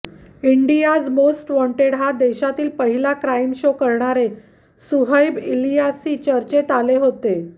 इंडियाच most wanted हा देशातला पहिला क्राईम शो करणारे सुहैब इलियासी चर्चेत आले होते